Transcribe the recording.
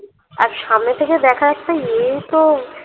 আর সামনে থেকে দেখা একটা ইয়েই তো